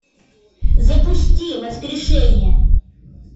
запусти воскрешение